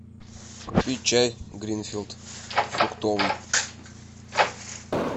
купить чай гринфилд фруктовый